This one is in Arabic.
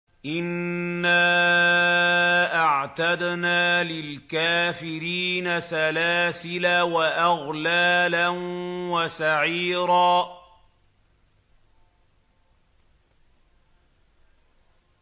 إِنَّا أَعْتَدْنَا لِلْكَافِرِينَ سَلَاسِلَ وَأَغْلَالًا وَسَعِيرًا